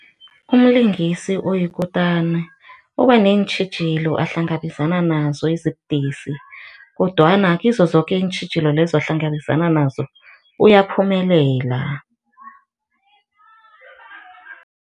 Umlingisi oyikutana ubaneentjhijilo ahlangabezana nazo ezibudisi kodwana kizo zoke iintjhijilo lezo ahlangabezana nazo, uyaphumelela.